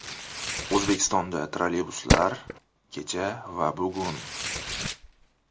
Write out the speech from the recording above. O‘zbekistonda trolleybuslar: Kecha va bugun.